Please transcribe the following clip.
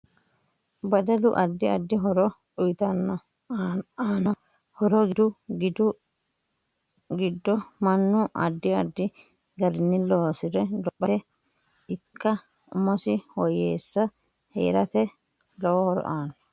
Dadalu addi addi horo uyiitanno aano horo giddo manu addi addi garinni loosore lophate ikko umosi woyewse heerate lowo horo aanno